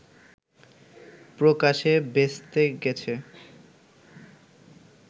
প্রকাশে ভেস্তে গেছে